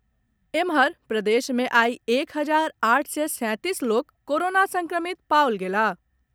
एम्हर, प्रदेश मे आइ एक हजार आठ सय सैंतीस लोक कोरोना संक्रमित पाओल गेलाह।